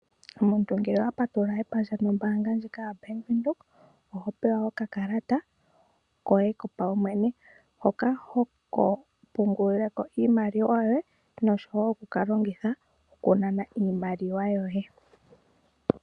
Omuntu ngele owa patulula epandja nombanga ndjika yoBank Windhoek oho pewa okakalata koye kopaumwene hoka oko ho pungulileko iimaliwa yoye noshwo okukalongitha okunana iimaliwa yoye.